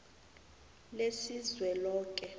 lesizweloke